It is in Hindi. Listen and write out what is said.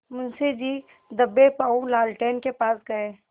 मुंशी जी दबेपॉँव लालटेन के पास गए